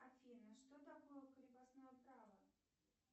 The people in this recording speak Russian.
афина что такое крепостное право